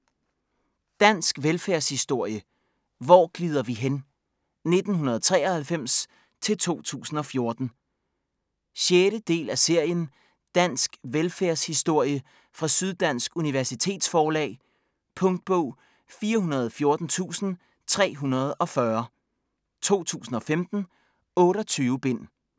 Dansk velfærdshistorie: Hvor glider vi hen?: 1993-2014 6. del af serien Dansk velfærdshistorie fra Syddansk Universitetsforlag. Punktbog 414340 2015. 28 bind.